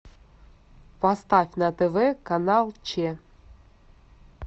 поставь на тв канал че